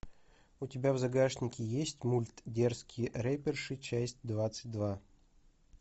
у тебя в загашнике есть мульт дерзкие рэперши часть двадцать два